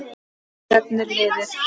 Hvert stefnir liðið?